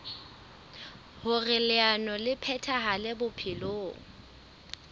hoer leano le phethahale bophelong